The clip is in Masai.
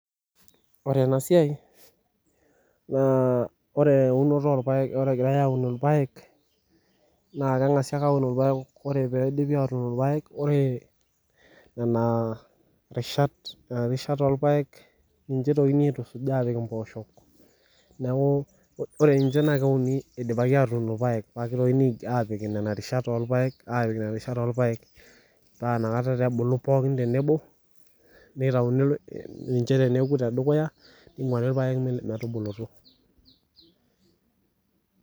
Ore enasiai na eunoto orpaek ore egirai aun irpaek na kengasi aun rpaek ore nena rishat nona rishat orpaek na ninche igili apik mpoosho neakubore ninche keunibidipaki apik irpaek pakepiki nonarishat orpaek aipik nona rishat orpaek neaku nitauni niche teneuko tedukuya ningwari nche metubulu.